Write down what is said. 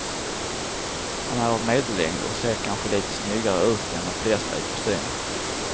Han är av medellängd och ser kanske lite snyggare ut än de flesta i kostym.